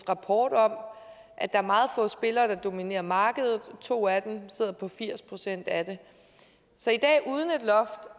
rapport om at der er meget få spillere der dominerer markedet to af dem sidder på firs procent af det så i dag uden et loft